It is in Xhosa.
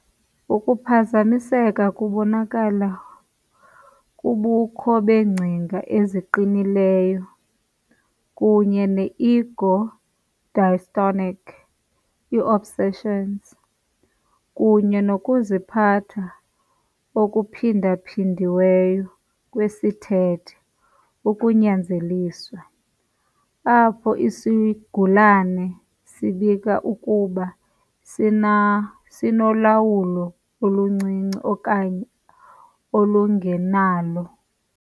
Ukuphazamiseka kubonakala kubukho beengcinga eziqinileyo kunye ne-ego-dystonic, i- obsessions, kunye nokuziphatha okuphindaphindiweyo kwesithethe, ukunyanzeliswa, apho isigulane sibika ukuba sinolawulo oluncinci okanye olungenalo.